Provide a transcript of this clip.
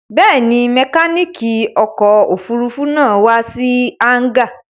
Bẹ́ẹ̀ni, mẹkáníkì ọkọ̀-òfurufú náà wà sí hángà.